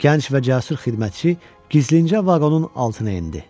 Gənc və cəsur xidmətçi gizlincə vaqonun altına endi.